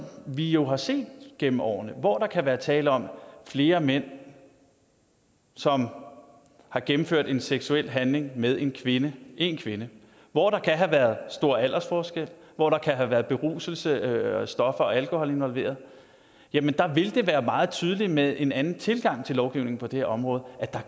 vi jo har set eksempler gennem årene hvor der kan være tale om flere mænd som har gennemført en seksuel handling med én kvinde én kvinde hvor der kan have været stor aldersforskel og hvor der kan have været beruselse stoffer og alkohol involveret vil det være meget tydeligt med en anden tilgang til lovgivningen på det her område at der